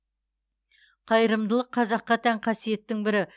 қайырымдылық қазаққа тән қасиеттің бірі